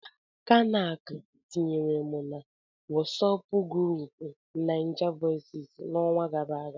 Kanac tinyere m na Wọsọpu grupuu Naijavoices n'ọnwa gara aga.